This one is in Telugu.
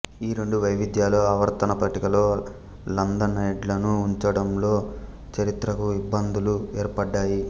ఈ రెండు వైవిధ్యాలు ఆవర్తన పట్టికలో లాంథనైడ్లను ఉంచడంలో చారిత్రక ఇబ్బందులు ఏర్పడ్డాయి